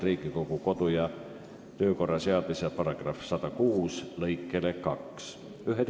Riigikogu kodu- ja töökorra seaduse § 106 lõike 2 alusel ei kuulu ettepanek hääletamisele.